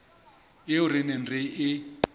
eo re neng re e